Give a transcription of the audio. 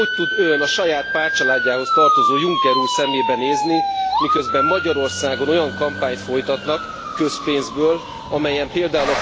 Hogy tud Ön a saját pártcsaládjához tartozó Juncker úr szemébe nézni, miközben Magyarországon olyan kampányt folytatnak közpénzből amelyen pl.